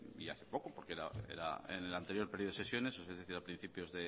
y hace poco porque era en el anterior periodo de sesiones es decir a principios